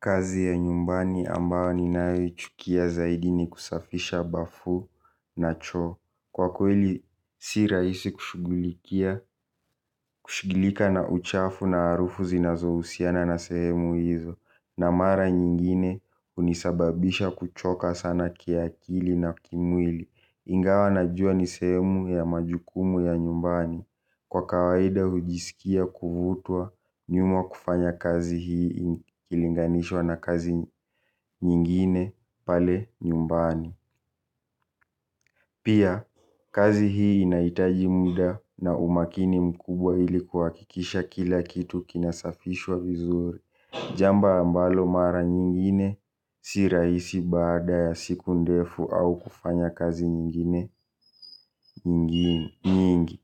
Kazi ya nyumbani ambayo ninayo ichukia zaidi ni kusafisha bafu na choo kwa kweli si rahisi kushugulikia kushugulika na uchafu na harufu zinazohusiana na sehemu hizo. Na mara nyingine unisababisha kuchoka sana kiakili na kimwili. Ingawa najua ni sehemu ya majukumu ya nyumbani. Kwa kawaida hujisikia kuvutwa nyuma kufanya kazi hii ilinganishwa na kazi nyingine pale nyumbani. Pia kazi hii inaitaji muda na umakini mkubwa ilikuhakikisha kila kitu kinasafishwa vizuri. Jambo ambalo mara nyingine si rahisi baada ya siku ndefu au kufanya kazi nyingine nyingi.